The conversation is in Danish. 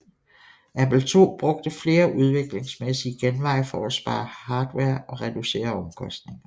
Apple II brugte flere udviklingsmæssige genveje for at spare hardware og reducere omkostninger